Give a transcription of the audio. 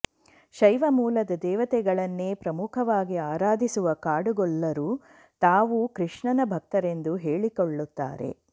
ಶೈವ ಮೂಲದ ದೇವತೆಗಳನ್ನೇ ಪ್ರಮುಖವಾಗಿ ಆರಾಧಿಸುವ ಕಾಡುಗೊಲ್ಲರು ತಾವು ಕೃಷ್ಣನ ಭಕ್ತರೆಂದು ಹೇಳಿಕೊಳ್ಳುತ್ತಾರೆ